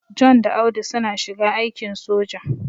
John da Audu suna shiga aikin soja.